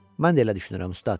Mən də elə düşünürəm, ustad.